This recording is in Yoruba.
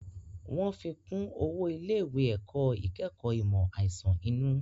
Wọ́n fi kún owó ilé ìwé ẹ̀kọ́ ìkẹ́kọ̀ọ́ ìmọ̀ àìsàn inú